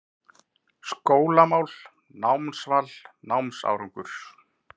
SKÓLAMÁL, NÁMSVAL, NÁMSÁRANGUR